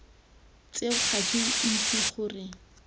tseo ga ke itse gore